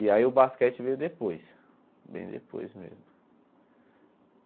E aí o basquete veio depois, bem depois mesmo.